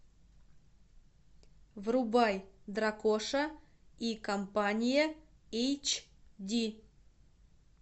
врубай дракоша и компания эйч ди